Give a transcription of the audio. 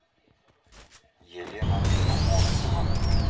елена поморцева